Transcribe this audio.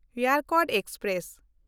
Yercaud express